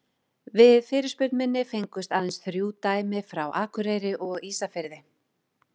við fyrirspurn minni fengust aðeins þrjú dæmi frá akureyri og ísafirði